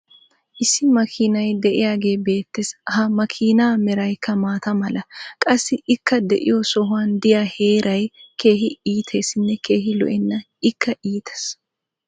issi makiinay diyagee beetees. ha makiinaa meraykka maata mala. qassi ikka diyo sohuwan diya heeray keehi iiteessinne keehi lo'enna. ikka iitees.